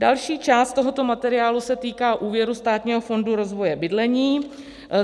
Další část tohoto materiálu se týká úvěrů Státního fondu rozvoje bydlení.